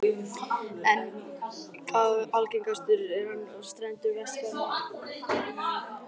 Algengastur er hann við strendur Vestfjarða og í